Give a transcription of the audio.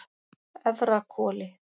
Efrahvoli